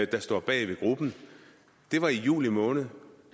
der står bag gruppen det var i juli måned